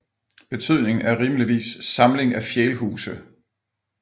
Betydningen er rimeligvis Samling af fjælhuse